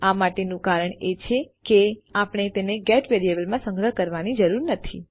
આ માટેનું કારણ એ છે કે આપણે તેને ગેટ વેરિયેબલમાં સંગ્રહ કરવાની જરૂર નથી